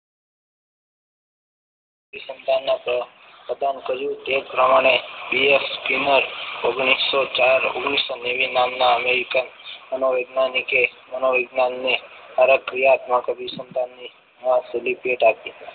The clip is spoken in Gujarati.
રિસમાના તો પ્રદાન કર્યું તે પ્રમાણે બીએસ તેમજ ઓગણીસો ચાર નેવી નામના american મનોવૈજ્ઞાનિકે મનોવિજ્ઞાનને પ્રક્રિયા ને વિસમતાઓને લીધે ભેટ આપી.